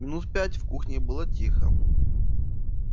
минут пять в кухне было тихо